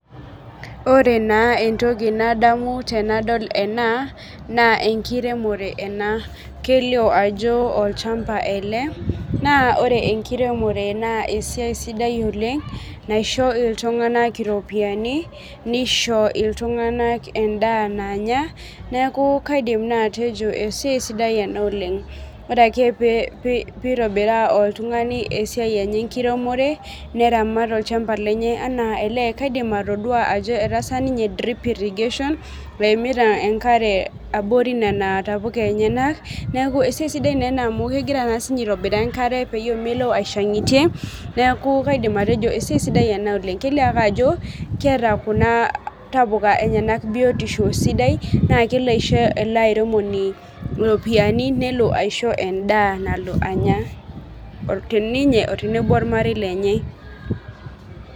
Ore na entoki nadamu tanadol ena na enkiremore ena, kelio ajo olchamba ele na ore enkiremore na esiai sidai oleng naisho ltunganak iropiyani nisho ltunganak endaa nanyaneaku kaidim na atejo esiai sidai ena oleng, ore ake peitobiraa oltungani esiaienye enkiremore, neramat olchamba lenye anakaidim atadua ajo etaasa ninye drip irrigation pemita enkare abori nona tapuka enyenakneaku esiai sidai ena amu kegira na sinye aitobiraa enkare pemilo aishangitie naaku kaidim atejo esiai sidai ena oleng, kelio ajo keeta kunabtapuka biotisho sidai na kelo aisho eleairemoni ropiyani nelo aisho endaa nalo anaya ninye teneno ormarei lenye.